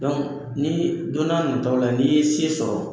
[cs ni donna nataaw la n'i ye se sɔrɔ,